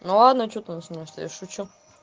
ну ладно что ты начинаешь да я шучу